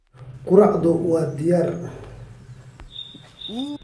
Quraacdaadu waa diyaar.